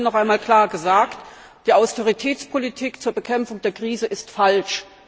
Sie haben es vorhin noch einmal klar gesagt Die Austeritätspolitik zur Bekämpfung der Krise ist falsch.